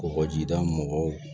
Kɔgɔjida mɔgɔw